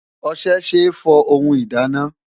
Ọṣẹ ṣe é fọ ohun ìdáná.